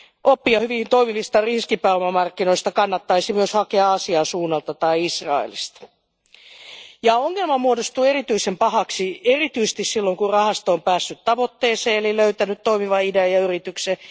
Oppia hyvin toimivista riskipääomamarkkinoista kannattaisi myös hakea Aasian suunnalta tai Israelista. Ongelma muodostuu erityisen pahaksi erityisesti silloin, kun rahasto on päässyt tavoitteeseen, eli löytänyt toimivan idean ja yrityksen.